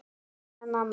kallaði mamma.